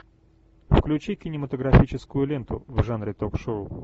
включи кинематографическую ленту в жанре ток шоу